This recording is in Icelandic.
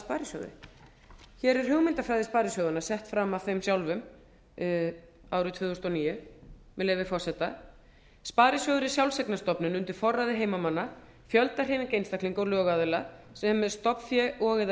hér er hugmyndafræði sparisjóðanna sett fram af þeim sjálfum árið tvö þúsund og níu með leyfi forseta sparisjóður er sjálfseignarstofnun undir forræði heimamanna fjöldahreyfing einstaklinga og lögaðila sem með stofnfé og eða